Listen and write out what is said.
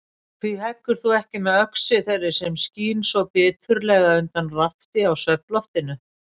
Hví heggur þú ekki með öxi þeirri sem skín svo biturlega undan rafti á svefnloftinu?